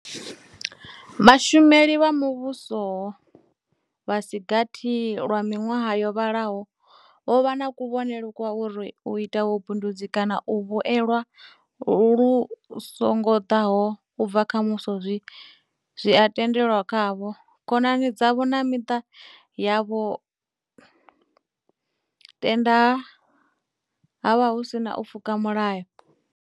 Vhashumeli vha muvhuso vha si gathi lwa miṅwaha yo vhalaho, vho vha na kuvhonele kwa uri u ita vhubindudzi kana u vhuelwa lu songo ḓaho u bva kha Muvhuso zwi a tendelwa khavho, khonani dzavho na miṱa yavho, tenda ha vha hu si na u pfuka mulayo.